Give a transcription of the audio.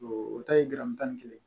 O ta ye garamu tan ni kelen